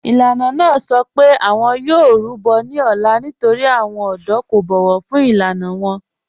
Ìlú náà sọ pé awọn yóò rúbọ̀ ní òlá nítorí awọn ọdọ̀ kò bọ̀wọ̀ fún ilànà wọn.